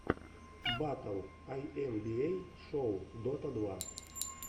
батл айэмбиэй шоу дота два